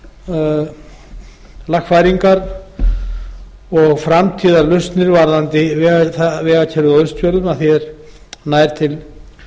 þarfar lagfæringar og framtíðarlausnir varðandi vegakerfið á austfjörðum að því er nær til